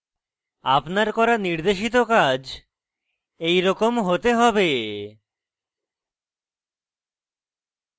আপনার করা নির্দেশিত কাজ এইরকম হতে হবে